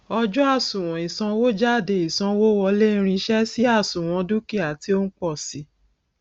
ọjọ àsuwon ìsanwójádé ìsanwówọlé irinṣẹ sì àsuwon dúkìá tí ó ń pọ sii